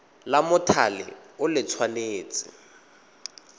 la mothale o le tshwanetse